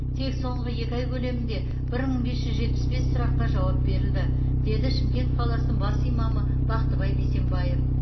тек соңғы екі ай көлемінде бір мың бес жүз жетпіс бес сұраққа жауап берілді деді шымкент қаласының бас имамы бақтыбай бейсенбаев